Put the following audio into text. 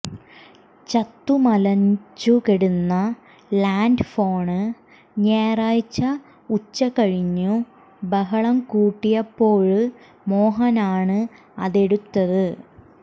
ചത്തുമലച്ചു കിടന്ന ലാന്ഡ്ഫോണ് ഞായറാഴ്ച ഉച്ച കഴിഞ്ഞു ബഹളം കൂട്ടിയപ്പോള് മോഹനാണ് അതെടുത്തത്